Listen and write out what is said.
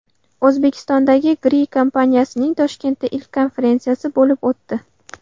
O‘zbekistondagi Gree kompaniyasining Toshkentda ilk konferensiyasi bo‘lib o‘tdi.